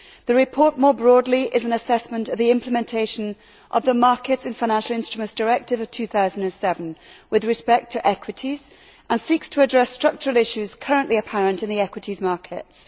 The report, more broadly, is an assessment of the implementation of the Markets in the Financial Instruments Directive of 2007 with respect to equities and seeks to address structural issues currently apparent in the equities markets.